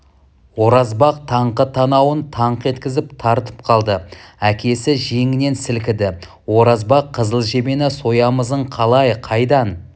оразбақ таңқы танауын таңқ еткізіп тартып қалды әкесі жеңінен сілкіді оразбақ қызыл жебені соямызың қалай қайдан